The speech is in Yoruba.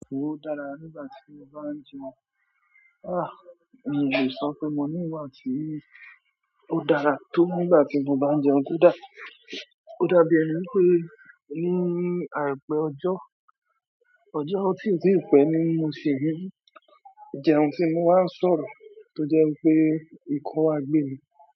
Ó dára nígbà tí mo bá ń jẹun. Ah! Mi ò lè sọ pe mo niwa tí ó dára tó nígbà tí mo bá ń jẹun. Ó dá, ó dàbí èni wipé moní àìpẹ́ ọjọ́, ọjọ́ ọtí ò tí pẹ́ ní mo sì ń rí. Ìjẹun tí mo wá sọ̀rọ̀, tó jẹ́ pé nǹkan á gbé mi.